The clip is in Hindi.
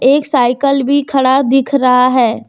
एक साइकल भी खड़ा दिख रहा है।